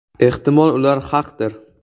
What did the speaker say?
Ehtimol, ular haqdir.